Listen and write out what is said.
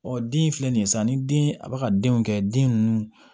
Ɔ den filɛ nin ye sa ni den a bɛ ka denw kɛ den ninnu